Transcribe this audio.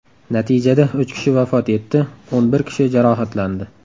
Natijada uch kishi vafot etdi, o‘n bir kishi jarohatlandi.